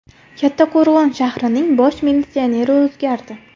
Kattaqo‘rg‘on shahrining bosh militsioneri o‘zgardi.